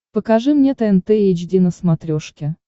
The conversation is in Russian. покажи мне тнт эйч ди на смотрешке